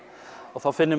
þá finnur